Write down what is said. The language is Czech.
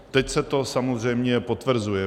Teď se to samozřejmě potvrzuje.